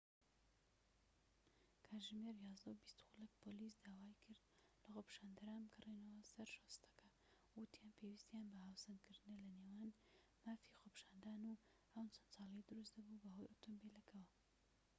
کاتژمێر ١١:٢٠ خولەك پۆلیس داوای کرد لە خۆپیشاندەران بگەڕێنەوە سەر شۆستەکە، وتیان پێویستیان بە هاوسەنگکردنە لەنێوان مافی خۆپیشاندان و ئەو جەنجاڵیەی دروست دەبوو بەهۆی ئۆتۆمبیلەکەوە